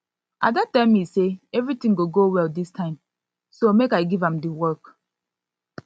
ada tell me say everything go go well dis time so make i give am the work